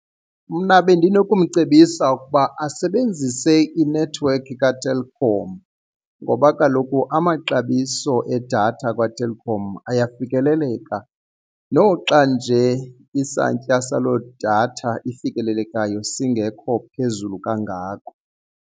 Mna bendinokumcebisa ukuba asebenzise inethiwekhi kaTelkom ngoba kaloku amaxabiso edatha kaTelkom ayafikeleleka noxa nje isantya salo datha ifikelelekayo singekho phezulu kangako.